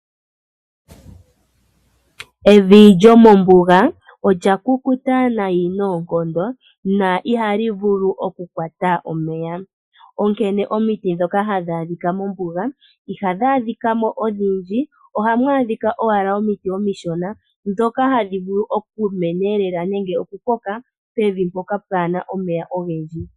Evi lyomombuga olya kukuta nayi noonkondo na ihali vulu oku kwata omeya. Onkene mombuga ihamu adhika omiti odhindji ohamu adhika owala omishona ndhoka hadhi vulu okumena nenge okukoka pevi mpoka kapuna omeya ogendji.